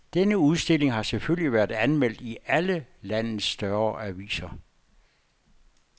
Denne udstilling har selvfølgelig været anmeldt i alle landets større aviser.